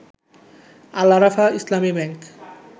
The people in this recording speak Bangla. আল আরাফাহ ইসলামী ব্যাংক